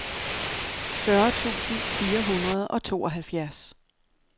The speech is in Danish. fyrre tusind fire hundrede og tooghalvfjerds